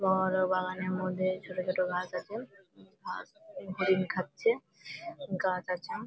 বড় বড় বাগানের মধ্যে ছোট ছোট ঘাস আছে। ঘাস গুলি হরিণ খাচ্ছে। গাছ আছে ।